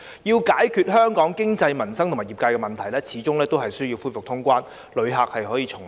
要解決香港經濟、民生及業界的問題，始終需要恢復通關，讓旅客重臨。